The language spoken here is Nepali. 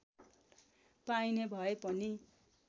पाइने भए पनि